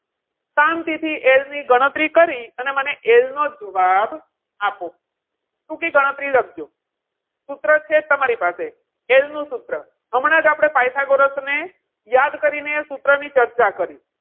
શાંતિથી L ની ગણતરી કરી અને મને L નો જવાબ આપો. okay L ની ગણતરી લખજો. સૂત્ર છે તમારી પાસે L નું સૂત્ર હમણાં જ આપણે પાયથાગોરસ ના સૂત્ર ની યાદ કરીને સૂત્ર ની ચર્ચા કરી.